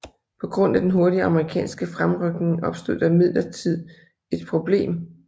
På grund af den hurtige amerikanske fremrykning opstod der imidlertid et problem